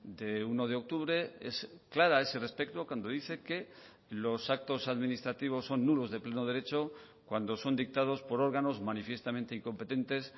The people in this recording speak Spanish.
de uno de octubre es clara a ese respecto cuando dice que los actos administrativos son nulos de pleno derecho cuando son dictados por órganos manifiestamente incompetentes